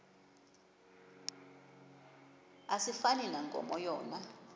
asifani nankomo yona